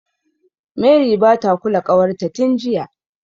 Mary bata kula ƙawarta tin jiya.